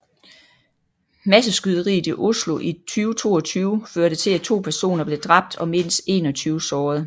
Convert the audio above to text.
Masseskyderiet i Oslo i 2022 førte til at to personer blev dræbt og mindst 21 sårede